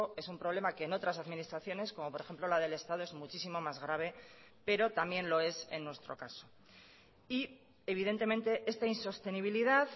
es un problema que en otras administraciones como por ejemplo la del estado es muchísimo más grave pero también lo es en nuestro caso y evidentemente esta insostenibilidad